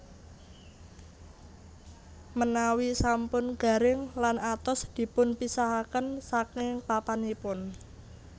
Menawi sampun garing lan atos dipunpisahaken saking papanipun